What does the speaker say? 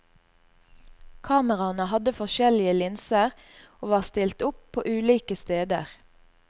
Kameraene hadde forskjellige linser og var stilt opp på ulike steder.